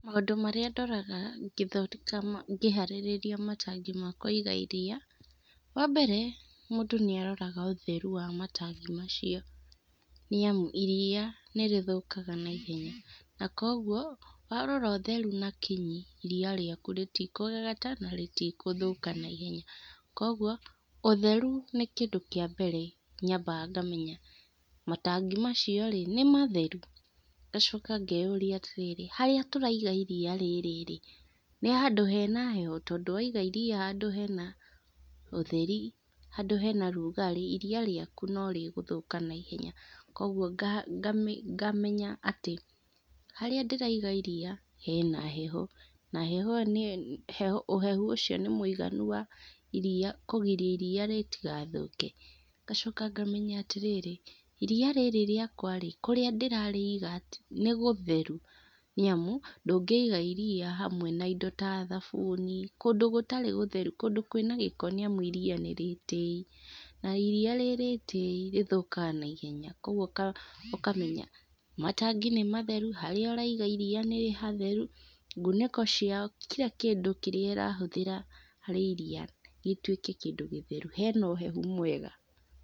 Maũndũ marĩa ndoraga ngĩthondeka ma ngĩharĩrĩria matangi ma kũiga iria, wambere, mũndũ nĩaroraga ũtheru wa matangi macio. Nĩamũ iria nĩrĩthũkaga naihenya. Na koguo warora ũtheru na kinyi, iria rĩaku rĩtikũgagata, na rĩti gũthũka na ihenya. Koguo ũtheru nĩ kĩndũ kĩa mbere nyambaga ngamenya matangi macio rĩ, nĩmatheru? ngacoka ngeyũria atĩrĩrĩ, harĩa tũraiga iria rĩrĩ rĩ, nĩhandũ hena heho? tondũ waiga iria handũ hena ũtheri, handũ hena rugarĩ, iria rĩaku no rĩgũthũka na ihenya. Koguo nga ngamenya atĩ harĩa ndĩraiga iria hena heho. Na heho ĩyo nĩyo heho ũhehu ũcio nĩmũiganu wa iria kũgiria iria rĩtigathũke. Ngacoka ngamenya atĩrĩrĩ, iria rĩrĩ rĩakwa rĩ, kũrĩa ndĩrarĩiga, nĩgũtheru? niamu ndungĩiga iria hamwe na indo ta thabuni, kũndũ gũtarĩ gũtheru, kũndũ kwĩna gĩko nĩamu iria nĩ rĩtĩi, na iria rĩ rĩtii rĩthũkaga na ihenya koguo ũkamenya matangi nĩmatheru, harĩa ũraiga iria nĩ hatheru, nguniko cio kira kindũ kĩrĩa ĩrahũthĩra harĩ iria rĩtuĩke kindũ gĩtheru, hena ũhehu mwega.